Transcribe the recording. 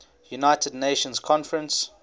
united nations conference